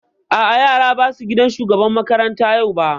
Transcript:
A'a yaran ba su gaida shugaban makaranta yau ba